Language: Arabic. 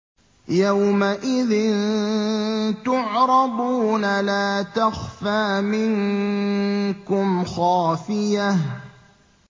يَوْمَئِذٍ تُعْرَضُونَ لَا تَخْفَىٰ مِنكُمْ خَافِيَةٌ